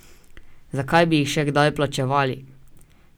Zakaj bi jih še kdaj plačevali?